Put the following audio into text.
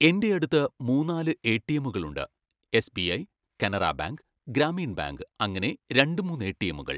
എൻ്റെ അടുത്ത് മൂന്നാല് എ. ടി. എമ്മുകൾ ഉണ്ട്. എസ്ബിഐ, കാനറാ ബാങ്ക്, ഗ്രാമീൺ ബാങ്ക് അങ്ങനെ രണ്ട് മൂന്ന് എ. ടി. എമ്മുകൾ.